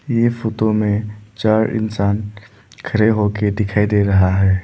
ये फोटो में चार इंसान खड़े होकर दिखाई दे रहा है।